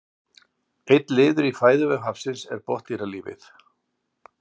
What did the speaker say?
einn liður í fæðuvef hafsins er botndýralífið